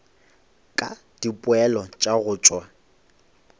ka dipoelo tša go tšwa